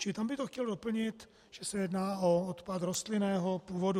Čili tam by to chtělo doplnit, že se jedná o odpad rostlinného původu.